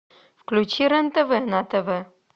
включи рен тв на тв